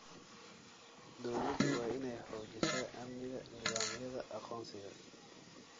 Dawladdu waa inay xoojisaa amniga nidaamyada aqoonsiga.